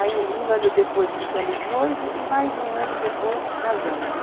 Aí um ano depois ficamos noivos e mais um ano depois casamos, em.